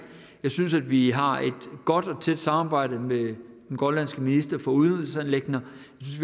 synes at vi har et godt og tæt samarbejde med den grønlandske minister for udenrigsanliggender